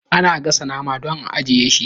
Ana gasa nama dan a ajjiye shi